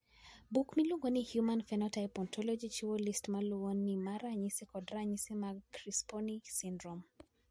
Buk miluongo ni Human Phenotype Ontology chiwo list ma luwoni mar ranyisi koda ranyisi mag Crisponi syndrome.